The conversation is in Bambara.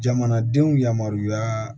Jamanadenw yamaruya